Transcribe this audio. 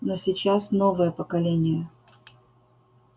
но сейчас новое поколение